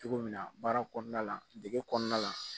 Cogo min na baara kɔnɔna la dege kɔɔna la